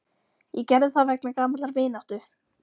Ég gerði það vegna gamallar vináttu.